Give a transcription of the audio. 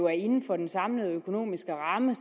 er inden for den samlede økonomiske ramme